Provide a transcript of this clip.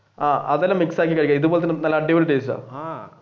ആഹ് അതൊക്കെ mix ആക്കി കഴിക്കാം ഇതുപോലെ നല്ല അടിപൊളി ടേസ്റ്റ് ആണ്.